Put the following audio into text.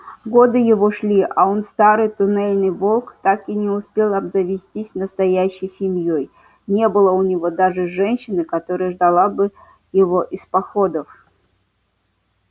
годы его шли а он старый туннельный волк так и не успел обзавестись настоящей семьёй не было у него даже женщины которая ждала бы его из походов